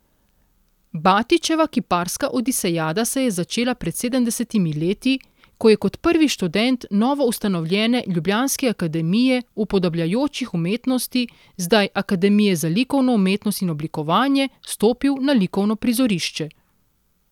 Batičeva kiparska odisejada se je začela pred sedemdesetimi leti, ko je kot prvi študent novoustanovljene ljubljanske akademije upodabljajočih umetnosti, zdaj akademije za likovno umetnost in oblikovanje, stopil na likovno prizorišče.